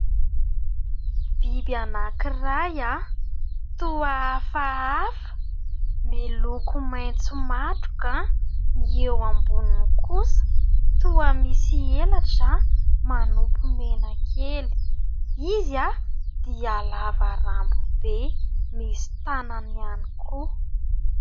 Biby anankiray toa hafahafa miloko maitso matroka ; ny eo amboniny kosa toa misy elatra manompo mena kely. Izy dia lava rambo be, misy tanany ihany koa.